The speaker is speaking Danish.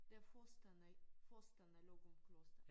Det forstaden i forstaden af Løgumkloster